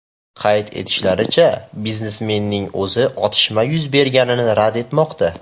Qayd etishlaricha, biznesmenning o‘zi otishma yuz berganini rad etmoqda.